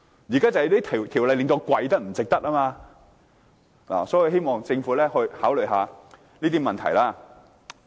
但現在這條例不值得我跪，所以，我希望政府考慮這些問題。